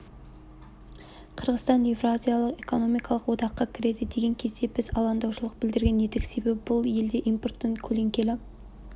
қырғызстан еуразиялық экономикалық одаққа кіреді деген кезде біз алаңдаушылық білдірген едік себебі бұл елде импорттың көлеңкелі